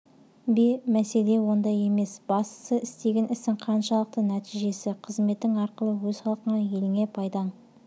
бе мәселе онда емес бастысы істеген ісің қаншалықты нәтижелі қызметің арқылы өз халқыңа еліңе пайдаң